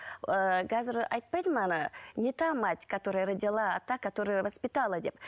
ыыы қазір айтпайды ма ана не та мать которая родила а та которая воспитала деп